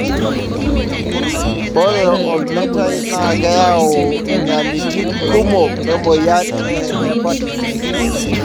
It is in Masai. ore olmeitai na keyau inyalitin kumok emoyian e hepatitis.